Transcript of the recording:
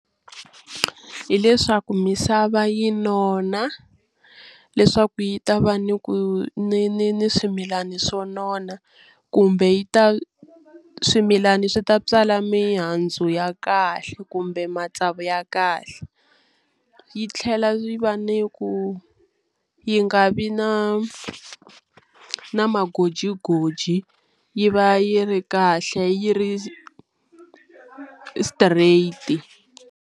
Hileswaku misava yi nona leswaku yi ta va ni ku ni ni ni swimilana swo nona kumbe yi ta swimilana swi ta tswala mihandzu ya kahle kumbe matsavu ya kahle yi tlhela ri va ni ku yi nga vi na na magojigoji yi va yi ri kahle yi ri straight.